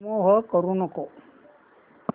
remove करू नको